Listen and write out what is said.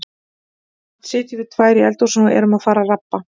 Samt sitjum við tvær í eldhúsinu og erum að fara að rabba.